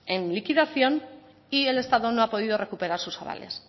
en liquidación y el estado no ha podido recuperar sus avales